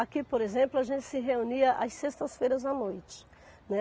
Aqui, por exemplo, a gente se reunia às sextas-feiras à noite, né.